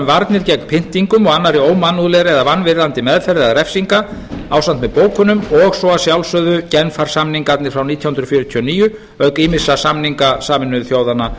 varnir gegn pyndingum og annarri ómannlegri eða vanvirðandi meðferð eða refsingu ásamt með bókunum og svo að sjálfsögðu genfarsamningana frá nítján hundruð fjörutíu og níu auk ýmissa samninga sameinuðu þjóðanna